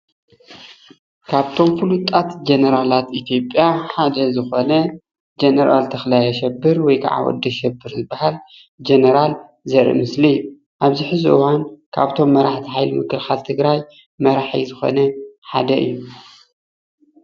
ካብቶም ፉሉጣት ጀነራላት ኢትዮጵያ ሓደ ዝኮነ ጀነራል ተክላይ ኣሸብር ወይ ከዓ ወዲ ኣሸብር ዝባሃል ጀነራል ዘርኢ ምስሊ እዩ፡፡ ኣብዚ ሕዚ እዋን ካብቶም መራሕቲ ሓይሊ ምክልካል ትግራይ መራሒ ዝኮነ ሓደ እዩ፡፡